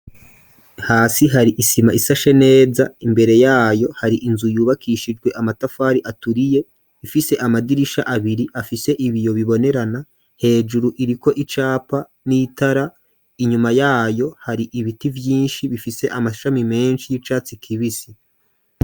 Hasi hari isima isashe neza imbere yayo hari inzu yubakishijwe amatafari aturiye ifise amadirisha abiri afise ibiyo bibonerana hejuru iriko icapa n'itara inyuma yayo hari ibiti vyinshi bifise amashami menshi y'icatsi kibisi.